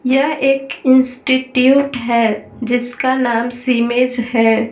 यह एक इंस्टिट्यूट है जिसका नाम सिमेज है।